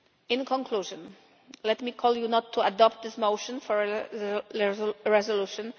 In conclusion, let me call on you not to adopt this motion for a resolution.